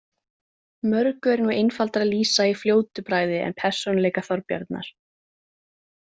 Mörgu er nú einfaldara að lýsa í fljótu bragði en persónuleika Þorbjarnar.